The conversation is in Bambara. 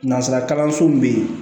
Nanzara kalanso min bɛ yen